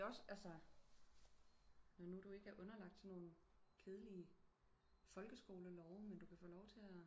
Det er også altså når nu du ikke er underlagt sådan nogle kedelige folkeskolelove men du kan få lov til at